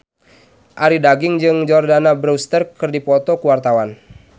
Arie Daginks jeung Jordana Brewster keur dipoto ku wartawan